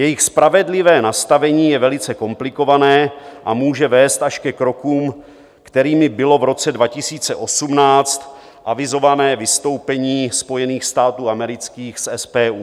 Jejich spravedlivé nastavení je velice komplikované a může vést až ke krokům, kterými bylo v roce 2018 avizované vystoupení Spojených států amerických z SPU.